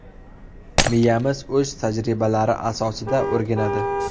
Miyamiz o‘z tajribalari asosida o‘rganadi.